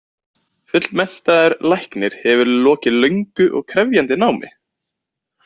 Fullmenntaður læknir hefur lokið löngu og krefjandi námi.